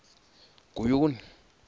guyuni